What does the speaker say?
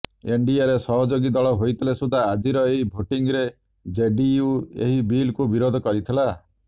ଏନ୍ଡିଏର ସହଯୋଗୀ ଦଳ ହୋଇଥିଲେ ସୁଦ୍ଧା ଆଜିର ଏହି ଭୋଟିଂରେ ଜେଡିୟୁ ଏହି ବିଲ୍କୁ ବିରୋଧ କରିଥିଲା